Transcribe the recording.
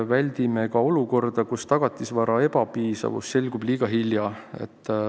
Väldime olukorda, kus tagatisvara ebapiisavus selgub liiga hilja.